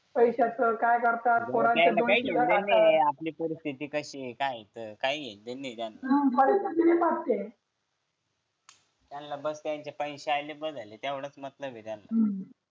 पैशाचं काय करतात कोणाचे दोन शिव्या खातात त्यांना काही देणंघेणं नाही आहे आपली परिस्थिती कशी आहे काय आहे परिस्थिती सगळी वाक्य त्यांना बसायचे पैसे आणि बस झाले तेवढेच मतलब आहे त्यांना